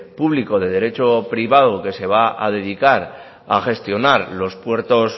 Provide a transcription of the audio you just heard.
público de derecho privado que se va a dedicar a gestionar los puertos